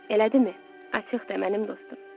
elədimi, açıq de, mənim dostum.